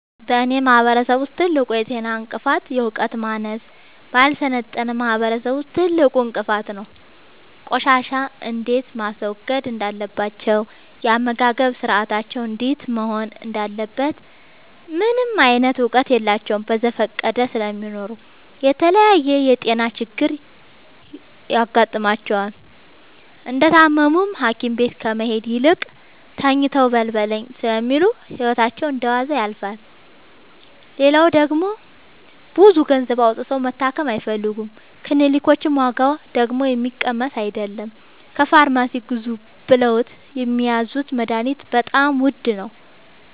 በእኔ ማህበረሰብ ውስጥ ትልቁ የጤና እንቅፍት የዕውቀት ማነስ በአልሰለጠነ ማህበረሰብ ውስጥ ትልቁ እንቅፋት ነው። ቆሻሻ እንዴት ማስወገድ እንዳለባቸው የአመጋገብ ስርአታቸው እንዴት መሆን እንዳለበት ምንም እውቀት የላቸውም በዘፈቀደ ስለሚኖሩ ለተለያየ የጤና ችግር ይጋረጥባቸዋል። እንደታመሙም ሀኪቤት ከመሄድ ይልቅ ተኝተው በልበለኝ ስለሚሉ ህይወታቸው እንደዋዛ ያልፋል። ሌላው ደግሞ ብዙ ገንዘብ አውጥተው መታከም አይፈልጉም ክኒልኮች ዋጋደግሞ የሚቀመስ አይለም። ከፋርማሲ ግዙ ብለውት የሚያዙት መደሀኒትም በጣም ውድ ነው።